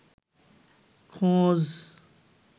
খোঁজ